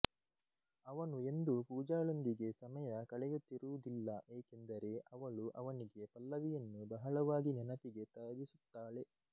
ಅವನು ಎಂದೂ ಪೂಜಾಳೊಂದಿಗೆ ಸಮಯ ಕಳೆಯುತ್ತಿರುವುದಿಲ್ಲ ಏಕೆಂದರೆ ಅವಳು ಅವನಿಗೆ ಪಲ್ಲವಿಯನ್ನು ಬಹಳವಾಗಿ ನೆನಪಿಗೆ ತರಿಸುತ್ತಾಳೆ